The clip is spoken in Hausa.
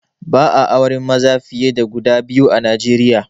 Ba'a auren maza fiye da guda biyu a Nijeriya